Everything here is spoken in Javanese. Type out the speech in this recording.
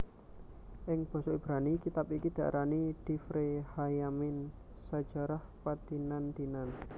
Ing basa Ibrani kitab iki diarani divre hayyamim sajarah padinan dinan